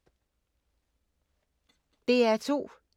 DR2